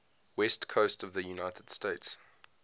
west coast of the united states